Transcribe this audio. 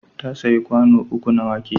Ta sayi kwano uku na wake.